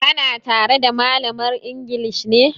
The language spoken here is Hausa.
Ka na tare da malamar inglis ne?